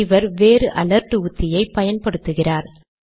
இவர் வேறு அலர்ட் உத்தியை பயன்படுத்துகிறார்